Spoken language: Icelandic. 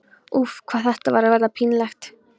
Úff, hvað þetta var að verða pínlegt.